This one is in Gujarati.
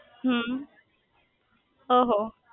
હમ્મ ઓહો